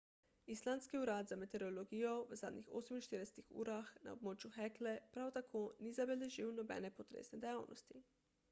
islandski urad za meteorologijo v zadnjih 48 urah na območju hekle prav tako ni zabeležil nobene potresne dejavnosti